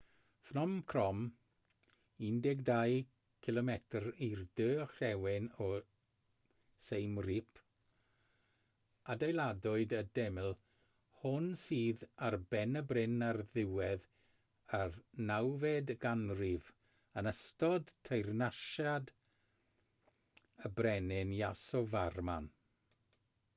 phnom krom 12 km i'r de orllewin o siem reap adeiladwyd y deml hon sydd ar ben y bryn ar ddiwedd y 9fed ganrif yn ystod teyrnasiad y brenin yasovarman